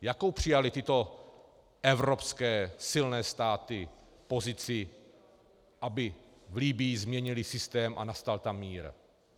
Jakou přijaly tyto evropské silné státy pozici, aby v Libyi změnily systém a nastal tam mír?